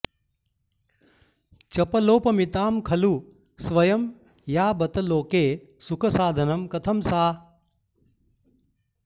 चपलोपमितां खलु स्वयं या बत लोके सुखसाधनं कथं सा